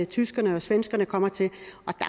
tyskerne og svenskerne kommer til